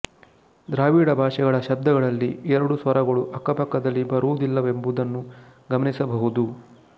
ದ್ರಾವಿಡ ಭಾಷೆಗಳ ಶಬ್ದಗಳಲ್ಲಿ ಎರಡು ಸ್ವರಗಳು ಅಕ್ಕಪಕ್ಕದಲ್ಲಿ ಬರುವುದಿಲ್ಲವೆಂಬುದನ್ನು ಗಮನಿಸಬಹುದು